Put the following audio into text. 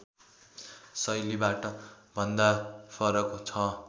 शैलीभन्दा फरक छ